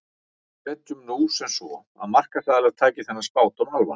Setjum nú sem svo að markaðsaðilar taki þennan spádóm alvarlega.